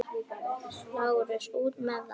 LÁRUS: Út með það!